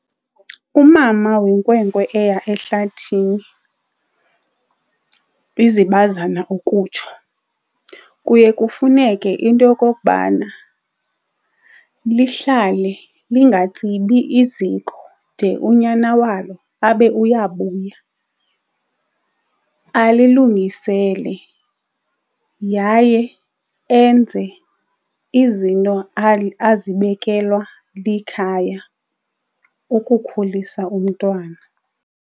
Umama wenkwenkwe eya ehlathini izibazana ukutsho kuye kufuneke into yokokubana lihlale lingatsibi iziko de unyana walo abe uyabuya alilungisele yaye enze izinto azibekelwa likhaya ukukhulisa umntwana.